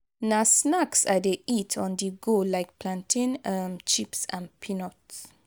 na snacks i dey eat on-the-go like plantain um chips and peanuts.